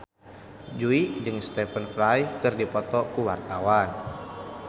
Jui jeung Stephen Fry keur dipoto ku wartawan